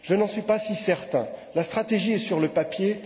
Je n'en suis pas si certain. La stratégie est sur le papier.